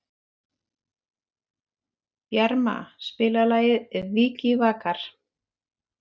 Bjarma, spilaðu lagið „Vikivakar“.